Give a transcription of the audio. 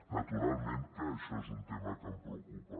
naturalment que això és un tema que em preocupa